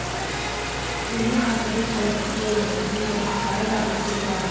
төле қазыбек әйтеке бидің ұрпақтары да осы зиратта